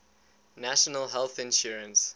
national health insurance